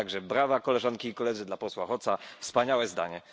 Tak, że brawa, koleżanki i koledzy, dla posła Hoca, wspaniałe zdanie!